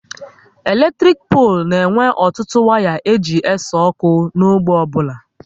Eletrik polu na e nwe ọtụtụ waya e ji ese ọkụ n'ógbè ọbụla